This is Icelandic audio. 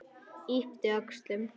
Yppti öxlum.